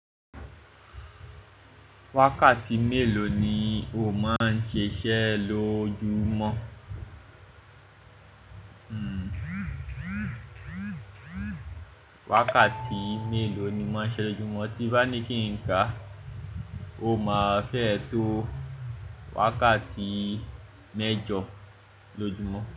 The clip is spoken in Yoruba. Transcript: Wákàtí mélòó ni o máa ń ṣiṣẹ́ lójúmọ́? Wákàtí mélòó ni máa ń ṣiṣẹ́ lójúmọ́ tí bá ní kí n ká, o máa fẹ́ to wákàtí mẹ́jọ lójúmọ́